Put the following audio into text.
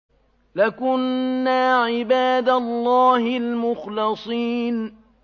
لَكُنَّا عِبَادَ اللَّهِ الْمُخْلَصِينَ